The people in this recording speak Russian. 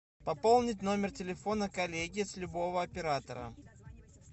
пополнить номер телефона коллеги с любого оператора